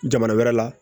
Jamana wɛrɛ la